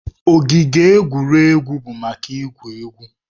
Ogige egwuregwu bụ maka igwu egwu.